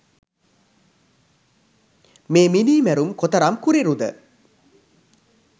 මේ මිනී මැරුම් කොතරම් කුරිරුද?